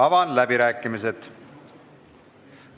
Avan läbirääkimised.